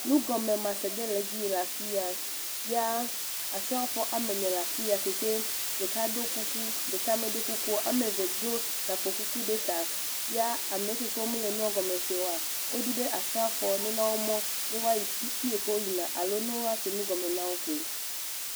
Nugɔmemase ɖe le edzi yi le afi ya. Ya Asrafo ame ne ɖe le afi ya si ke ɖeka do kuku, ɖeka medo kukuo. Woame eve do gakpokuku ɖe ta. Ya am eke ke womele nua gɔme se oa, wodi be Asrafoawo ne na wo mɔ ne woayi fii ke woyina alo ne wose nu gɔme na wo koe,